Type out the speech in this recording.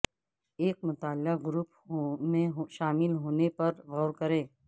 ایک مطالعہ گروپ میں شامل ہونے پر غور کریں